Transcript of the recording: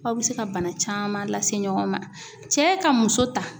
Aw bɛ se ka bana caman lase ɲɔgɔn ma, cɛ ka muso ta.